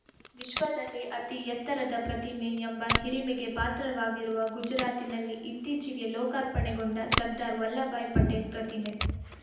ವಿಶ್ವದಲ್ಲೇ ಅತಿ ಎತ್ತರದ ಪ್ರತಿಮೆ ಎಂಬ ಹಿರಿಮಗೆ ಪಾತ್ರವಾಗಿರುವ ಗುಜರಾತ್‌ನಲ್ಲಿ ಇತ್ತೀಚೆಗೆ ಲೋಕಾರ್ಪಣೆಗೊಂಡ ಸರ್ದಾರ್‌ ವಲ್ಲಬಾಯ್‌ ಪಟೇಲ್‌ ಪ್ರತಿಮೆ